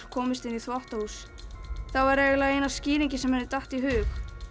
komist inn í þvottahús það var eiginlega eina skýringin sem henni datt í hug